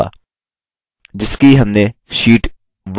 जिसकी हमने शीट 1 में गणना की थी